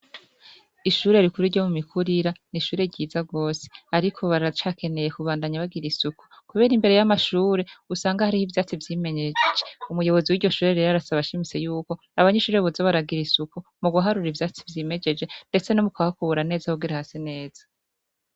Ishure rikuru ryo mu mikurira n'ishure ryiza gose, ariko baracakeneye kubandanya bagira isuku, kubera imbere y'amashure usanga hariho ivyatsi vyimejeje umuyobozi w'iryo shure rero arasaba ashimitse yuko abanyeshure boza baragira isuku mu guharura ivyatsi vyimejeje, ndetse no mu kuhakubura neza kugira hase neza.